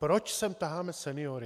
Proč sem taháme seniory?